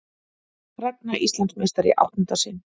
Ragna Íslandsmeistari í áttunda sinn